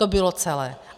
To bylo celé.